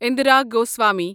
Indira Goswami